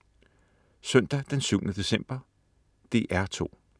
Søndag den 7. december - DR2: